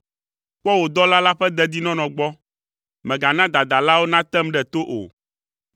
Kpɔ wò dɔla la ƒe dedinɔnɔ gbɔ, mègana dadalawo natem ɖe to o.